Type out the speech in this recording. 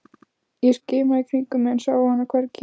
Ég skimaði í kringum mig en sá hann hvergi.